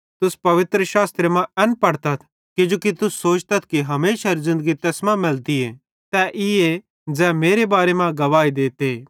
तुस पवित्रशास्त्रे मां एन पढ़तथ किजोकि तुस सोचतथ कि हमेशारी ज़िन्दगी तैस मां मैलतीए तै ईए ज़ै मेरे बारे मां गवाही देते